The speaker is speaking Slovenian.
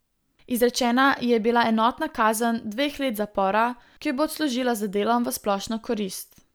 Izrečena ji je bila enotna kazen dveh let zapora, ki jo bo odslužila z delom v splošno korist.